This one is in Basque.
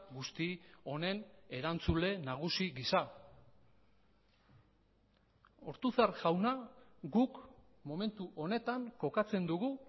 guzti honen erantzule nagusi gisa ortuzar jauna guk momentu honetan kokatzen dugu